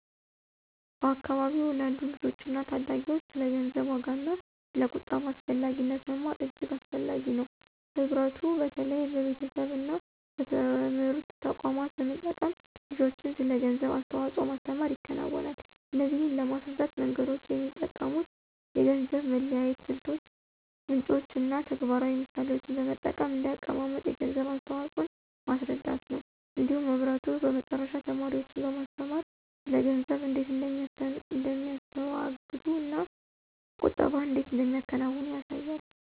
በአካባቢዎ ላሉ ልጆችና ታዳጊዎች ስለ ገንዘብ ዋጋና ስለ ቁጠባ አስፈላጊነት መማር እጅግ አስፈላጊ ነው። ህብረቱ በተለይ በቤተሰቦች እና በትምህርት ተቋማት በመጠቀም ልጆችን ስለ ገንዘብ አስተዋጽኦ ማስተምር ይከናወናል። እነዚህን ለማስረዳት መንገዶች የሚጠቀሙት የገንዘብ መለያየት ስልቶች፣ ምንጭ እና ተግባራዊ ምሳሌዎችን በመጠቀም እንደ አቀማመጥ የገንዘብ አስተዋፅኦን ማስረዳት ነው። እንዲሁም ህብረቱ በመጨረሻ ተማሪዎችን በማስተማር ስለ ገንዘብ እንዴት እንደሚያስተዋግዱ እና ቁጠባን እንዴት እንደሚያከናውኑ ያሳያል።